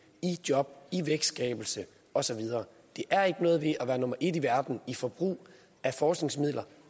i job i vækstskabelse og så videre der er ikke noget ved at være nummer et i verden i forbrug af forskningsmidler